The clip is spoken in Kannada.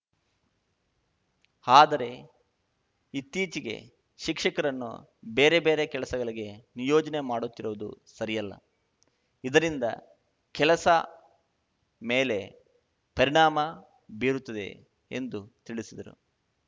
ಆದರೆ ಇತ್ತೀಚೆಗೆ ಶಿಕ್ಷಕರನ್ನು ಬೇರೆ ಬೇರೆ ಕೆಲಸಗಳಿಗೆ ನಿಯೋಜನೆ ಮಾಡುತ್ತಿರುವುದು ಸರಿಯಲ್ಲ ಇದರಿಂದ ಕೆಲಸ ಮೇಲೆ ಪರಿಣಾಮ ಬೀರುತ್ತದೆ ಎಂದು ತಿಳಿಸಿದರು